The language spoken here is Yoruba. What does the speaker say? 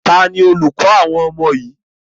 Taàní olùkọ́ àwọn ọmọ yìí?